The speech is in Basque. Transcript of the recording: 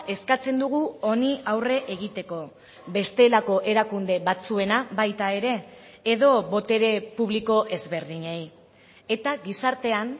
eskatzen dugu honi aurre egiteko bestelako erakunde batzuena baita ere edo botere publiko ezberdinei eta gizartean